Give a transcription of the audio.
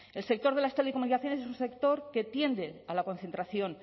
el sector de las telecomunicaciones y un sector que tiende a la concentración